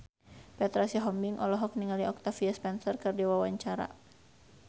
Petra Sihombing olohok ningali Octavia Spencer keur diwawancara